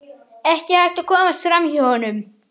Ekki hægt að komast fram hjá honum.